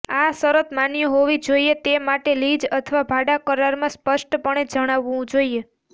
આ શરત માન્ય હોવી જોઈએ તે માટે લીઝ અથવા ભાડા કરારમાં સ્પષ્ટપણે જણાવવું જોઈએ